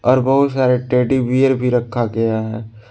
और बहुत सारे टेडी बियर भी रखा गया है।